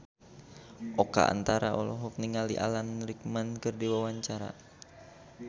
Oka Antara olohok ningali Alan Rickman keur diwawancara